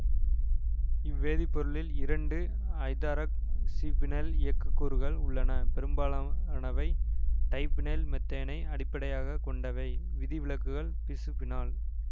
இவ் வேதிப்பொருளில் இரண்டு ஐதராக்ஃசிபீனைல் இயக்கக்கூறுகள் உள்ளன பெரும்பாலானவை டைபீனைல்மெத்தேனை அடிப்படையாக கொண்டவை விதிவிலக்குகள் பிசுபீனால்